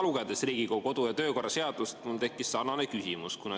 Lugedes Riigikogu kodu‑ ja töökorra seadust, tekkis mul ka küsimus.